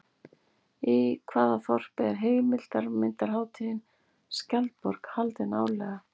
Í hvaða þorpi er heimildarmyndarhátíðin Skjaldborg haldin árlega?